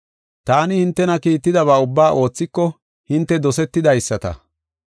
Taani hintena kiittidaba ubbaa oothiko hinte dosetidaysata.